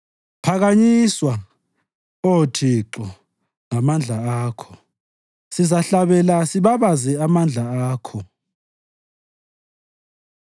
Phakanyiswa, Oh Thixo ngamandla Akho; sizahlabela sibabaze amandla Akho.